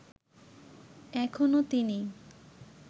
এখনও তিনি